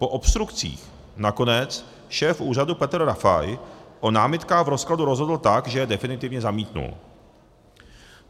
Po obstrukcích nakonec šéf úřadu Petr Rafaj o námitkách v rozkladu rozhodl tak, že je definitivně zamítl.